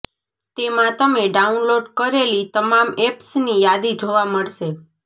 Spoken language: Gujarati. તેમાં તમે ડાઉનલોડ કરેલી તમામ એપ્સની યાદી જોવા મળશે